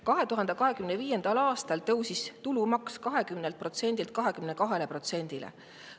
2025. aastal tõusis tulumaks 20%‑lt 22%‑le.